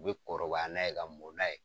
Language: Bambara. U bɛ kɔrɔbaya n'a ye ka mɔn n'a ye.